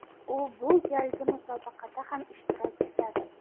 U bu galgi musobaqada ham ishtirok etadi.